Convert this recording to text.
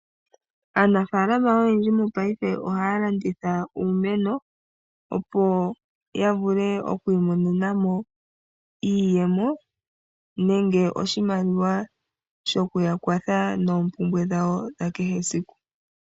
Aanafaalama oyendji monena ohaya landitha uumeno opo ya vule oku imonena mo iiyemo nenge oshimaliwa sho ku ya kwatha moompumbwe dhawo, dha kehe esiku.